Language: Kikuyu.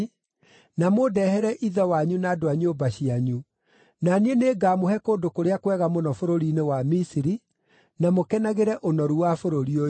na mũndehere ithe wanyu na andũ a nyũmba cianyu. Na niĩ nĩngamũhe kũndũ kũrĩa kwega mũno bũrũri-inĩ wa Misiri, na mũkenagĩre ũnoru wa bũrũri ũyũ.’